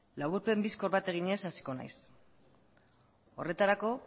laburpen bizkor bat eginez hasiko naiz horretarako